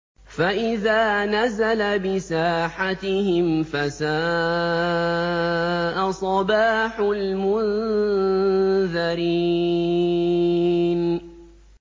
فَإِذَا نَزَلَ بِسَاحَتِهِمْ فَسَاءَ صَبَاحُ الْمُنذَرِينَ